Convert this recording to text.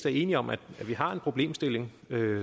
er enige om at vi har en problemstilling